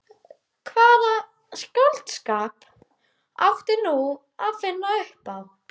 Hvaða skáldskap átti nú að finna upp á?